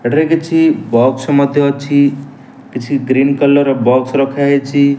ଏଠାରେ କିଛି ବକ୍ସ ମଧ୍ୟ ଅଛି କିଛି ଗ୍ରୀନ କଲର୍ ବକ୍ସ ରଖା ହେଇଚି ।